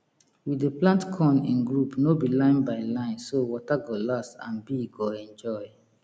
we dey plant corn in group no be line be line so water go last and bee go enjoy